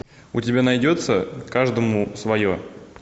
у тебя найдется каждому свое